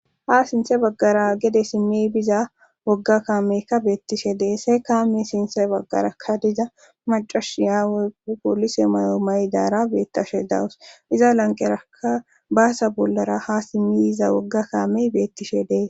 Ha sinthe baggara gede simmi biza wogga kaameykka beettishe des. kaame sinthe baggarakka diza macashiya woykko poolise mayo mayidaara beettashe dawus iza lanqeraka baasa bollara ha simmi iza wogga kaamey beettishe dees.